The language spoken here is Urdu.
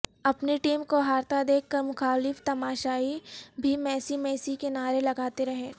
اپنی ٹیم کو ہارتا دیکھ کر مخالف تماشائی بھی میسی میسی کے نعرے لگاتے رہے